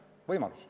See on võimalus.